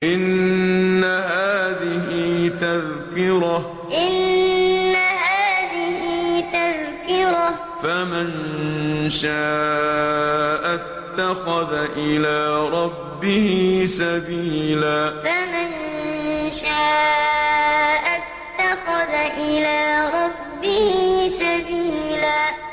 إِنَّ هَٰذِهِ تَذْكِرَةٌ ۖ فَمَن شَاءَ اتَّخَذَ إِلَىٰ رَبِّهِ سَبِيلًا إِنَّ هَٰذِهِ تَذْكِرَةٌ ۖ فَمَن شَاءَ اتَّخَذَ إِلَىٰ رَبِّهِ سَبِيلًا